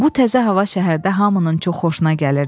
Bu təzə hava şəhərdə hamının çox xoşuna gəlirdi.